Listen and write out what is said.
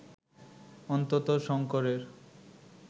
অন্ততঃ শঙ্করের